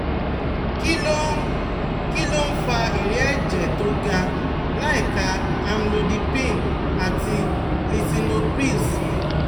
Kí ló ń Kí ló ń fa ìrẹ̀ẹ́ ẹ̀jẹ̀ tó ga láìka Amlodipine àti Lisinopril sí